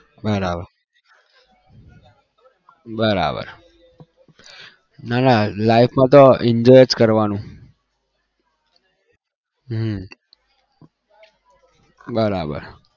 બરાબર બરાબર ના ના life માં તો enjoy જ કરવાનું હમ બરાબર